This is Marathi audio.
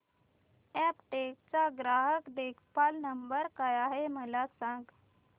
अॅपटेक चा ग्राहक देखभाल नंबर काय आहे मला सांग